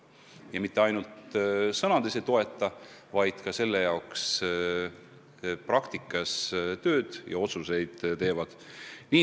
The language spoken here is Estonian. Ja mitte ainult sõnades ei toeta, vaid selle nimel ka praktikas tööd teevad.